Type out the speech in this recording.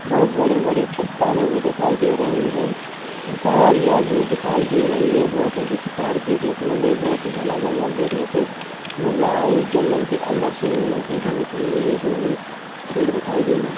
बोहत बड़ी-बड़ी चट्टानें भी दिखाई दे रही है और पहाड़िया भी दिखाई दे रही है बहुत ऊंची-ऊंची पहाड़ी देखने को मिल रहे है बहुत ही घना जंगल देखने को मिल रहा है जंगल के अंदर से नदी भी निकली हुई है इसमे भी पेड़ दिखाई दे रहे है।